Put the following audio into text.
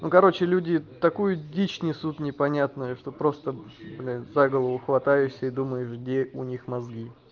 ну короче люди такую дичь несут непонятную что просто блин за голову хватаешься и думаешь где у них мозги